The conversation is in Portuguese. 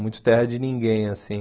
Muito terra de ninguém, assim.